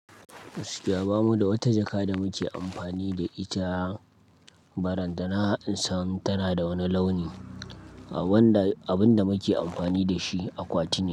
Gaskiya bamu da wata jaka da muke amfani da ita ba ran da na san tana da wani launi wanda abin da muke amfani da shi akwati ne.